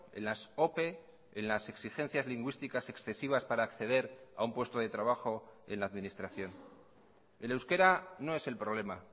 en las ope en las exigencias lingüísticas excesivas para acceder a un puesto de trabajo en la administración el euskera no es el problema